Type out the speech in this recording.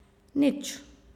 Nič.